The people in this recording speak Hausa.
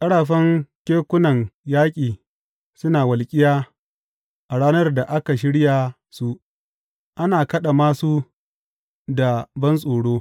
Ƙarafan kekunan yaƙi suna walƙiya a ranar da aka shirya su; ana kaɗa māsu da bantsoro.